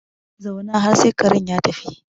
Zauna har sai karen ya tafi